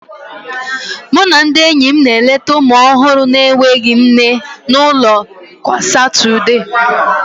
Mụ na ndị enyi m na-eleta ụmụ ọhụrụ na-enweghị nne n'ụlọ kwa Satọde